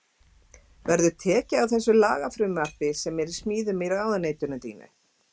Verður tekið á því í þessu lagafrumvarpi sem er í smíðum í ráðuneytinu þínu?